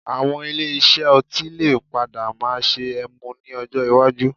Àwọn ilé iṣẹ́ ọtí lè padà máa ṣe ẹmu ní ọjọ́ iwájú